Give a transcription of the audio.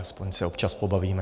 Aspoň se občas pobavíme.